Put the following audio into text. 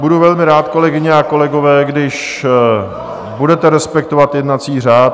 Budu velmi rád, kolegyně a kolegové, když budete respektovat jednací řád.